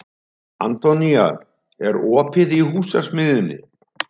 Antonía, er opið í Húsasmiðjunni?